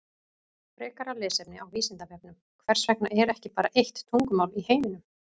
Frekara lesefni á Vísindavefnum Hvers vegna er ekki bara eitt tungumál í heiminum?